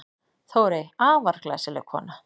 Þórey, afar glæsileg kona.